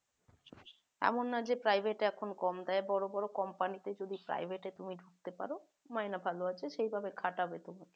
এমন না যে private এ এখন কম দেয় বড় বড় company তে যদি তুমি private এ ঢুকতে পারো মাইনা ভালো আছে সেই ভাবে খাটাবে তোমাকে